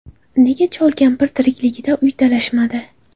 Nega chol-kampir tirikligida uy talashmadi?